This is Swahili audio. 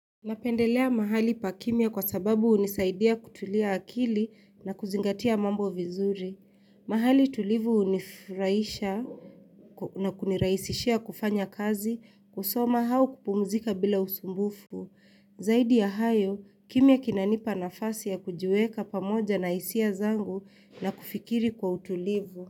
Napendelea mahali pa kimia kwa sababu hunisaidia kutulia akili na kuzingatia mambo vizuri. Mahali tulivu hunifurahisha na kuniraisishia kufanya kazi kusoma au kupumzika bila usumbufu. Zaidi ya hayo, kimia kinanipa nafasi ya kujiweka pamoja na hisia zangu na kufikiri kwa utulivu.